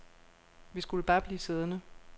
Vi skulle bare blive siddende.